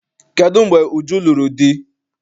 Kedụ mgbe Uju lụrụ di?